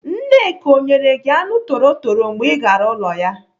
Nneka ọ nyere gị anụ torotoro mgbe ị gara ụlọ ya?